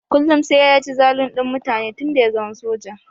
Kullum sai ya ci zalun din mutane tun da ya zama soja.